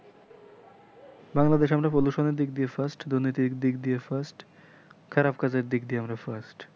বাংলাদেশ আমরা প্রদর্শনের দিক দিয়ে first দুর্নীতির দিক দিয়ে first দিক দিয়ে আমরা first